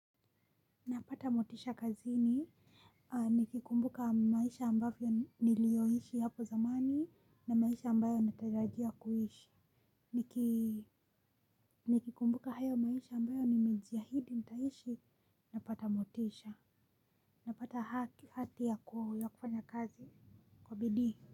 Napata motisha kazini nikikumbuka maisha niliyoyaishi hapo zamani na maisha ambayo natarajia kuishi niki. Nikikumbuka hayo maisha ambayo nimejiahidi nitaishi, napata motisha; napata hati ya kufanya kazi kwa bidii.